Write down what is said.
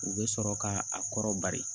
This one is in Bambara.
U bɛ sɔrɔ k'a kɔrɔ bari